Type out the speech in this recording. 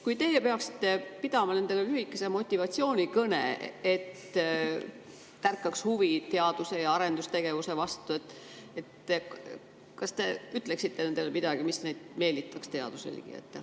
Kui teie peaksite pidama nendele lühikese motivatsioonikõne, et tärkaks huvi teadus- ja arendustegevuse vastu, siis kas te ütleksite nendele midagi, mis meelitaks neid teaduse ligi?